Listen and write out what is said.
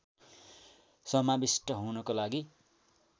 समाविष्ट हुनको लागि